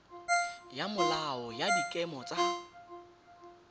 ya molao wa dikema tsa